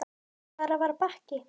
En hvar var Bakki?